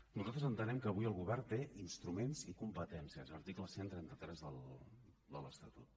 nosaltres entenem que avui el govern té instruments i competències article cent i trenta tres de l’estatut